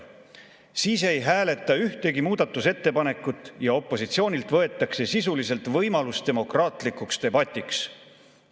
Siis ei hääletata ühtegi muudatusettepanekut ja opositsioonilt võetakse sisuliselt võimalus demokraatlikuks debatiks.